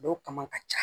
Dɔw kama ka ca